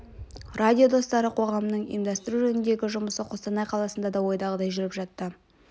радио достары қоғамының ұйымдастыру жөніндегі жұмысы қостанай қаласында да ойдағыдай жүріп жатты